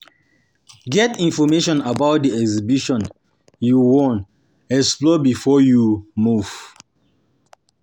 Get information about di exhibition you won explore before you move